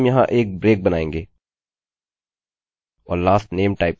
हम यहाँ एक ब्रेक बनाएँगे और lastname टाइप करेंगे